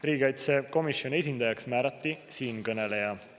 Riigikaitsekomisjoni esindajaks määrati siinkõneleja.